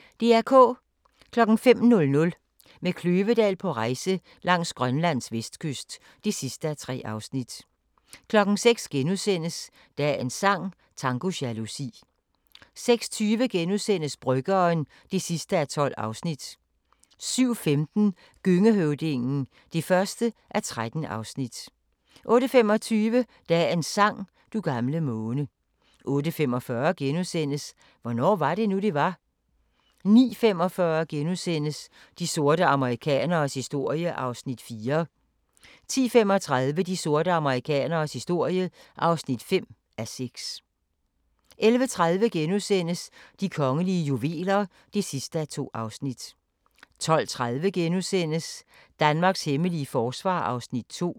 05:00: Med Kløvedal på rejse langs Grønlands vestkyst (3:3) 06:00: Dagens sang: Tango jalousi * 06:20: Bryggeren (12:12)* 07:15: Gøngehøvdingen (1:13) 08:25: Dagens sang: Du gamle måne 08:45: Hvornår var det nu, det var? * 09:45: De sorte amerikaneres historie (4:6)* 10:35: De sorte amerikaneres historie (5:6) 11:30: De kongelige juveler (2:2)* 12:30: Danmarks hemmelige forsvar (2:4)*